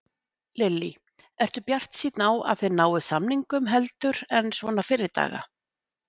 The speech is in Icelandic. Lillý: Ertu bjartsýnn á að þið náið samningum heldur en svona fyrri daga?